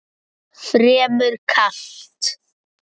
Fremur kalt.